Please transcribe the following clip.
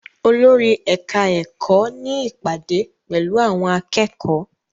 Olórí ẹ̀ka-ẹ̀kọ́ ní ìpàdé pẹ̀lú àwọn akẹ́kọ̀ọ́?